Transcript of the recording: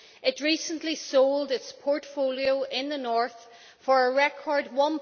It recently sold its portfolio in the North for a record EUR